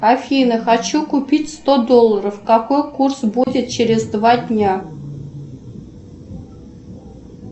афина хочу купить сто долларов какой курс будет через два дня